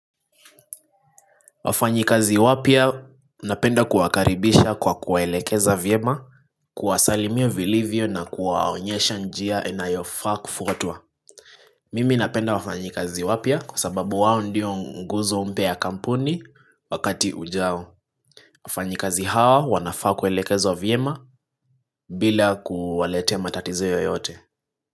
Wafanyikazi wapya napenda kuwakaribisha kwa kuwaelekeza vyema, kuwasalimia vilivyo na kuwaonyesha njia inayofaa kufuatwa. Mimi napenda wafanyikazi wapya kwa sababu wao ndio nguzo mpya ya kampuni wakati ujao. Wafanyikazi hawa wanafaa kuelekezwa vyema bila kuwaletea matatizo yoyote.